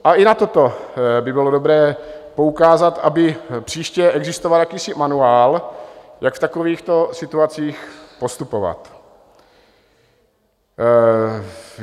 A i na toto by bylo dobré poukázat, aby příště existoval jakýsi manuál, jak v takovýchto situacích postupovat.